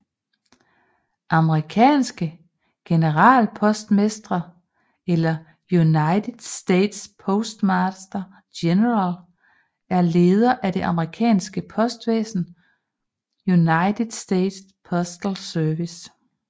Amerikanske generalpostmestre eller United States Postmaster General er leder af det amerikanske postvæsen United States Postal Service